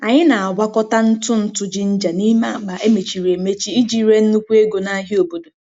Anyị na-agwakọta ntụ ntụ ginger n'ime akpa emechiri emechi iji ree nnukwu ego n'ahịa obodo.